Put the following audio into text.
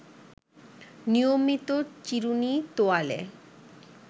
নিয়মিত চিরুনি, তোয়ালে